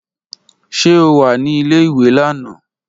Ṣe o wa ni ìle-ìwe lana?